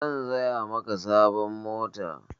San saya maka sabon mota.